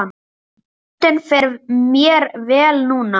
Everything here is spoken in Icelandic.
Röddin fer mér vel núna.